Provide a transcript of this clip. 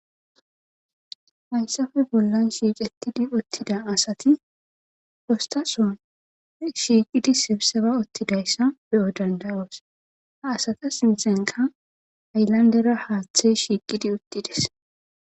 hayssafe bollan shiic ettidi uttida asati postason shiiqidi sibseba uttidayssa beyo danda7oos a asata sinthenka aylandera haaththe shiiqidi uttides